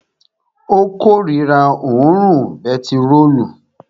Ó korira òórùn bentiróòlù